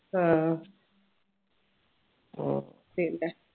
ആഹ് പിന്നെ